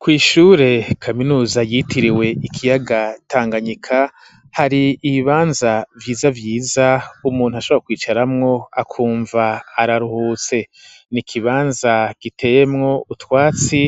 Kw'ishure kaminuza yitiriwe ikiyaga tanganyika hari ibibanza vyiza vyiza umuntu ashabara kwicaramwo akumva araruhutse ni ikibanza giteyemwo utwatsi